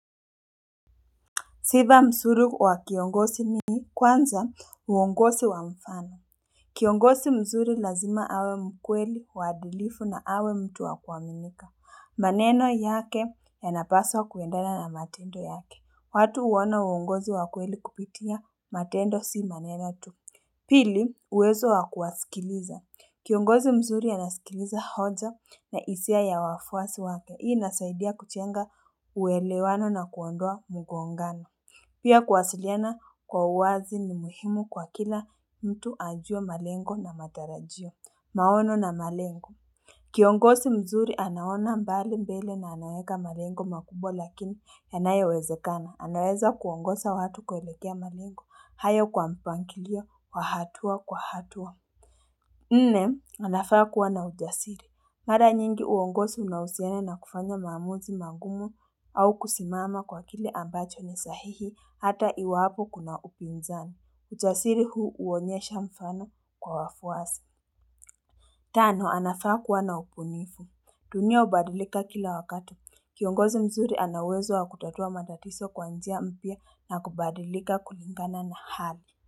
Sifa mzuri wa kiongozi ni kwanza uongozi wa mfano Kiongozi msuri lazima awe mkweli waadilifu na awe mtu wa kuamimika maneno yake yanapaswa kuendana na matendo yake watu huona uongozi wa kweli kupitia matendo si maneno tu Pili uwezo wa kuwasikiliza Kiongozi mzuri anasikiliza hoja na hisia ya wafuasi wake Hii inasaidia kujenga uelewano na kuondoa mgongano Pia kuwasiliana kwa uwazi ni muhimu kwa kila mtu ajue malengo na matarajio, maono na malengo. Kiongozi mzuri anaona mbali mbele na anaweka malengo makubwa lakini yanayo wezekana. Anaweza kuongoza watu kuelekea malengo, haya kwa mpangilio kwa hatua kwa hatua. Nne, anafaa kuwa na ujasiri. Mara nyingi uongozi unahusiana na kufanya maamuzi mangumu au kusimama kwa kile ambacho ni sahihi hata iwapo kuna upinzani. Ujasiri huu huonyesha mfano kwa wafuasi. Tano, anafaa kuwa na upunifu. Dunia hubadilika kila wakati. Kiongozi mzuri ana uwezo wa kutatua matatizo kwa njia mpya na kubadilika kulingana na hali.